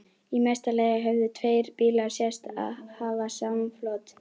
Í mesta lagi höfðu tveir bílar sést hafa samflot.